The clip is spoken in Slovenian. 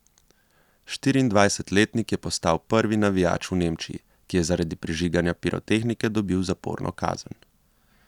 Štiriindvajsetletnik je postal prvi navijač v Nemčiji, ki je zaradi prižiganja pirotehnike dobil zaporno kazen.